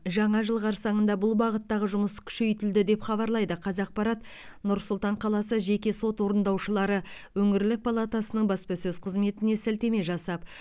жаңа жыл қарсаңында бұл бағыттағы жұмыс күшейтілді деп хабарлайды қазақпарат нұр сұлтан қаласы жеке сот орындаушылары өңірлік палатасының баспасөз қызметіне сілтеме жасап